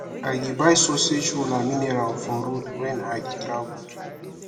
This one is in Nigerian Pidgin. i dey buy sausage roll and mineral for road wen i dey travel